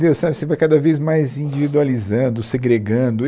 sabe você vai cada vez mais individualizando, segregando.